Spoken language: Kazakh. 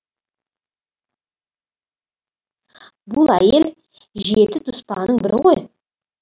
бұл әйел жеті дұспанның бірі ғой